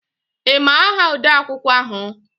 Ị ma aha odeakwụkwọ ahụ?